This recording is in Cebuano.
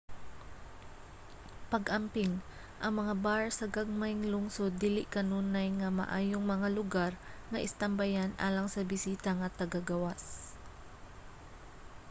pag-amping: ang mga bar sa gagmayng lungsod dili kanunay nga maayong mga lugar nga istambayan alang sa bisita nga taga-gawas